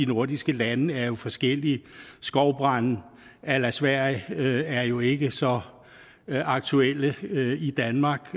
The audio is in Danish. nordiske lande jo er forskellige skovbrande a la sverige er jo ikke så aktuelle i danmark